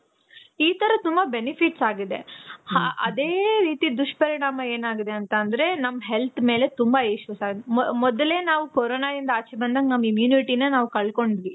ಈ ತರ ತುಂಬ benefits ಆಗಿದೆ. ಹ್ಹ ಅದೇ ರೀತಿ ದುಷ್ಪರಿಣಾಮ ಏನ್ ಆಗಿದೆ ಅಂತ ಅಂದ್ರೆ ನಮ್ health ಮೇಲೆ ತುಂಬ issues ಆಗಿದೆ. ಮೊದ್ಲೇ ನಾವು ಕೋರೋನ ಇಂದ ಆಚೆ ಬಂದಾಗ ನಮ್ immunity ನ ನಾವ್ ಕಳ್ಕೊಂಡವಿ.